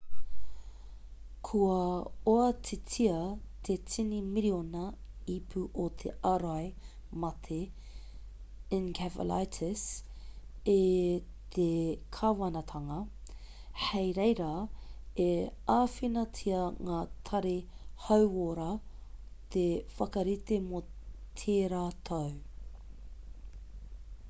kua oatitia te tini miriona ipu o te ārai mate encephalitis e te kāwanatanga hei reira e āwhinatia ngā tari hauora te whakarite mō tērā tau